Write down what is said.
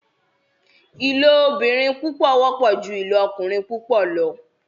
ilobìrin púpọ wọpọ jù ilokurin púpọ lọ.